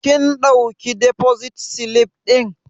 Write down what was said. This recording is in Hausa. Kin ɗauki defosit silif ɗin?